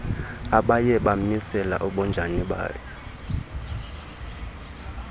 abaye bamisele ubunjani